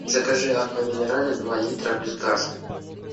закажи аква минерале два литра без газа